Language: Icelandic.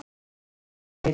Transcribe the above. Hér kemur tvennt til.